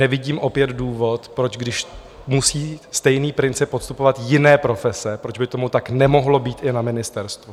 Nevidím opět důvod, proč, když musí stejný princip podstupovat jiné profese, proč by tomu tak nemohlo být i na ministerstvu.